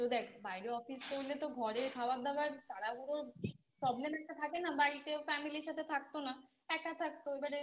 দেখ বাইরে Office করলে তো ঘরের খাবার দাওয়ার তাড়াহুড়োর Problem একটা থাকে না বাড়িতেও Family র সাথে থাকতো না এক থাকতো এবারে